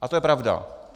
A to je pravda.